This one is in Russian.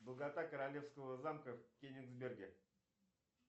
долгота королевского замка в кенигсберге